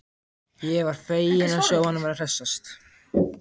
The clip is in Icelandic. Ég var feginn að sjá að hann var að hressast!